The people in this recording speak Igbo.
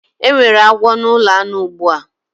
Enwere agwo na ulo anu ugbu a